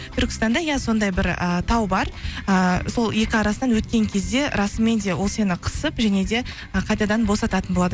түркістанда иә сондай бір і тау бар ііі сол екі арасынан өткен кезде расымен де ол сені қысып және де ы қайтадан босататын болады